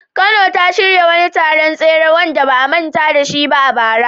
Kano ta shirya wani taron tseren tsere wanda ba a manta da shi ba a bara.